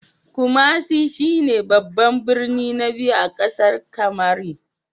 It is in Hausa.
Kumasi shi ne babban birnin na biyu a ƙasar Kamari.